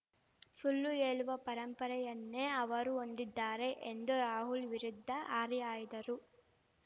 ಶುಳ್ಳು ಹೇಳುವ ಪರಂಪರೆಯನ್ನೇ ಅವರು ಹೊಂದಿದ್ದಾರೆ ಎಂದು ರಾಹುಲ್‌ ವಿರುದ್ಧ ಹರಿಹಾಯ್ದರು